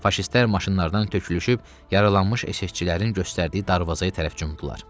Faşistlər maşınlardan tökülüşüb yaralanmış SS-çilərin göstərdiyi darvazaya tərəf cumdular.